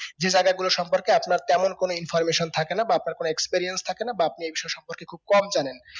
যে জায়গা গুলো সম্পর্কে আপনার তেমন কোনো informaton থাকে না বা আপনার কোনো experience থাকে না বা আপনি এই বিষয় সম্পর্কে খুব কম জানেন